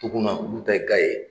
Toguna olu bɛɛ ka ye